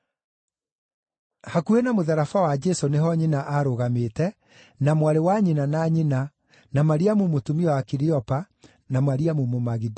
Hakuhĩ na mũtharaba wa Jesũ nĩho nyina aarũgamĩte, na mwarĩ wa nyina na nyina, na Mariamu mũtumia wa Kiliopa, na Mariamu Mũmagidali.